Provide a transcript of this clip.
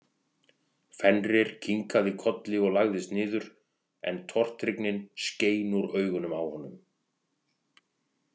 Fenrir kinkaði kolli og lagðist niður en tortryggnin skein úr augunum á honum.